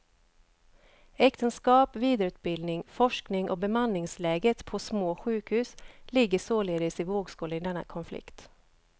Äktenskap, vidareutbildning, forskning och bemanningsläget på små sjukhus ligger således i vågskålen i denna konflikt.